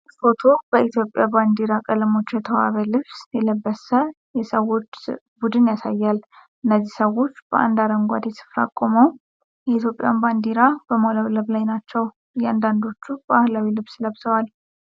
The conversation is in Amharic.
ይህ ፎቶ በኢትዮጵያ ባንዲራ ቀለሞች የተዋበ ልብስ የለበሰ የሰዎች ቡድን ያሳያል። እነዚህ ሰዎች በአንድ አረንጓዴ ስፍራ ቆመው የኢትዮጵያን ባንዲራ በማውለብለብ ላይ ናቸው። አንዳንዶቹ ባህላዊ ልብስ ለብሰዋል።